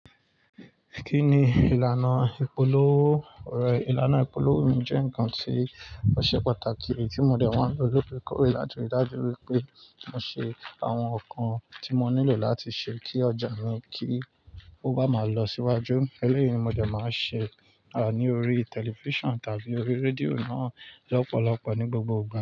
Kí ni ìlànà ìpolówó? Òrọ ìlànà ìpolówó mi jẹ́ ǹkan tí ó ṣe pàtàkì tí mo dẹ̀ máa ń lo lóòrèkóòrè láti ríi dájú wípé mo ṣe àwọn ǹkan tí mo nílò láti ṣe kí ọjà mi kí ó bá máa lọ síwájú. Eléyìí ni mo dẹ̀ máa ṣe, à ní orí television tàbí orí radio náà lọ́pọ̀lọpọ̀ ní gbogbo ìgbà.